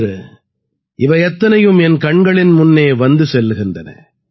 இன்று இவை அத்தனையும் என் கண்களின் முன்னே வந்து செல்கின்றன